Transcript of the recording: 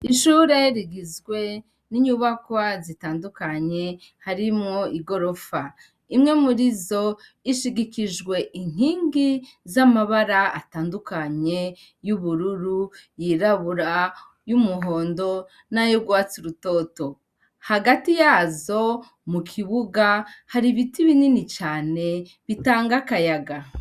Ishure rigizwe ninyubakwa zitandukanye harimwo igorofa, imwe murizo ishigikijwe inkingi zamabara atandukanye yubururu, yirabura, yumuhondo nayurwatsi rutoto, hagati yazo mukibuga haribiti binini cane bitanga akayaga